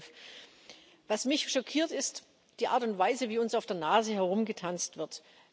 und 2012. Was mich schockiert, ist die Art und Weise, wie uns auf der Nase herumgetanzt wird.